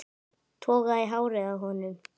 Toga í hárið á honum.